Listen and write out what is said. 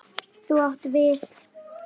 Þú átt við.